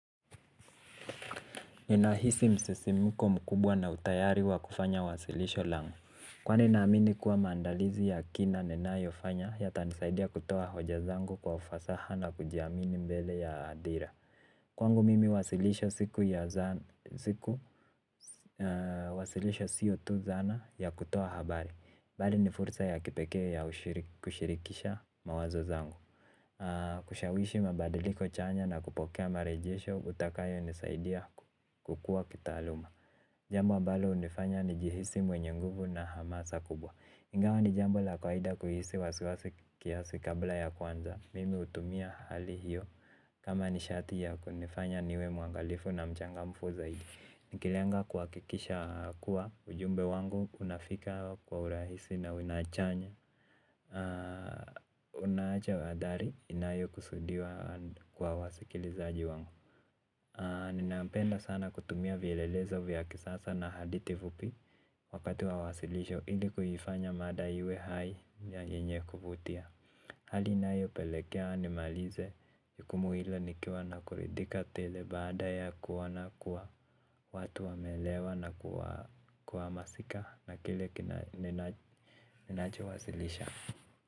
Ninahisi msisimko mkubwa na utayari wa kufanya wasilisho langu. Kwani naamini kuwa maandalizi ya kina ninayo fanya, yata nisaidia kutoa hoja zangu kwa ufasaha na kujiamini mbele ya adhira. Kwangu mimi wasilisho siku ya zan, siku, wasilisho sio tu zana ya kutoa habari. Bali ni fursa ya kipekee ya kushirikisha mawazo zangu. Kushawishi mabadiliko chanya na kupokea marejesho utakayo nisaidia kukua kitaaluma. Jambo ambalo hunifanya nijihisi mwenye nguvu na hamasa kubwa. Ingawa ni jambo la kwaida kuhisi wasiwasi kiasi kabla ya kuanza. Mimi hutumia hali hiyo kama nishati ya kunifanya niwe mwangalifu na mchangamfu zaidi. Nikilenga kuhakikisha kuwa ujumbe wangu unafika kwa urahisi na unachanya. Unaacha athari inayo kusudiwa kwa wasikilizaji wangu. Ninapenda sana kutumia vielelezo vya kisasa na hadithi vupi wakati wa wasilisho ili kuifanya mada iwe hai yenye kuvutia. Hali inayo pelekea nimalize jukumu ile nikiwa na kuridhika tele baada ya kuona kuwa watu wameelewa na kuwa kuhamasika na kile ninacho wasilisha.